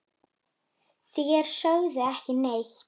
Þér sögðuð ekki neitt!